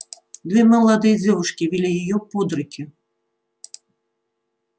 две молодые девушки вели её под руки